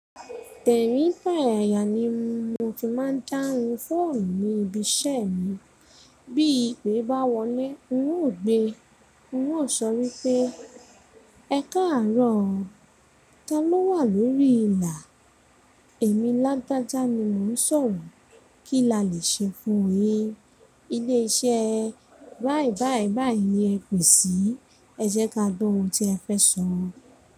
Tèrin, toyaya jibmi ìgbà ìyà ní mo fi máà ń dáhùn fóònù ní ibi iṣẹ́ mi, bí ìpè bá wọlé, n o gbe, n o sọ wípé, ẹkáàárò ọ, ta ló wà lórí ìlà? Èmi lágbájá ni mo n sọ̀rọ̀, kí la lè ṣe fún yin? Ilé iṣẹ́ báì báì báì yẹn pè si, ẹ jẹ́ ká tó ohun tí ẹ fẹ́ sọ.